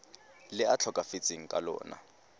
le a tlhokafetseng ka lona